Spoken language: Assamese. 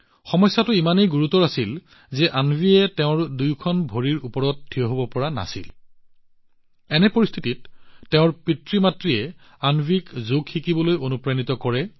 সমস্যাটো ইমানেই গুৰুতৰ আছিল যে অন্ৱীয়ে আনকি নিজৰ দুয়ো ভৰিৰ ওপৰত থিয় হব পৰা নাছিল এনে পৰিস্থিতিত অন্বীৰ পিতৃমাতৃয়ে তাইক যোগ শিকিবলৈ অনুপ্ৰাণিত কৰিছিল